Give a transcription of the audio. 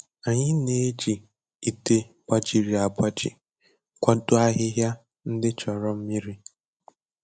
Anyị na-eji ite gbajiri agbaji kwado ahịhịa ndị chọrọ mmiri.